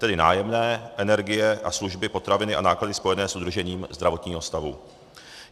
Tedy nájemné, energie a služby, potraviny a náklady spojené s udržením zdravotního stavu.